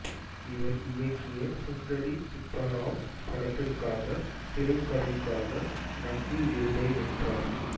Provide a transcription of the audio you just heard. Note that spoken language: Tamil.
இவர் இயக்கிய சுந்தரி சுப்பராவ் படத்திற்காக திரைக்கதைக்காக நந்தி விருதை வென்றார்